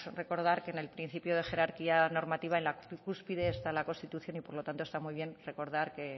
recordar que en el principio de jerarquía normativa en la cúspide está la constitución y por lo tanto está muy bien recordar que